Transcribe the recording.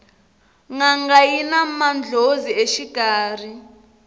nanga yina mandlhozi exikarhi